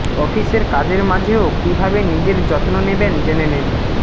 অফিসের কাজের মাঝেও কী ভাবে নিজের যত্ন নেবেন জেনে নিন